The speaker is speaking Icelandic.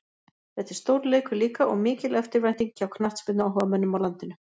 Þetta er stórleikur líka og mikil eftirvænting hjá knattspyrnuáhugamönnum á landinu.